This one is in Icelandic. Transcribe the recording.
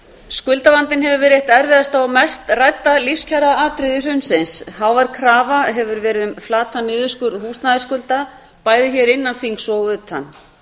skuldavandinn hefur verið eitt erfiðasta og mest rædda lífskjaraatriði hrunsins hávær krafa hefur verið um flatan niðurskurð húsnæðisskulda bæði hér innan þings og utan